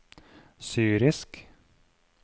syrisk